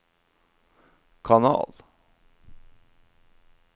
kanal